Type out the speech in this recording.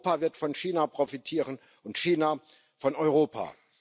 Europa wird von China profitieren und China von Europa.